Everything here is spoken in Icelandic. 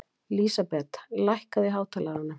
Lísabet, lækkaðu í hátalaranum.